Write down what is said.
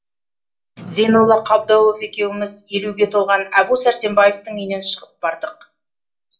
зейнолла қабдолов екеуміз елуге толған әбу сәрсенбаевтың үйінен шығып бардық